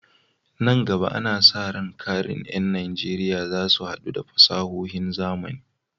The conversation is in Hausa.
Nan gaba, ana sa ran ƙarin ƴan Najeriya za su haɗa da fasahohin zamani.